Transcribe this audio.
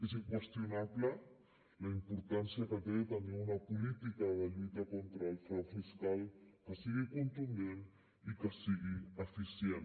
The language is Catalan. és inqüestionable la importància que té tenir una política de lluita contra el frau fiscal que sigui contundent i que sigui eficient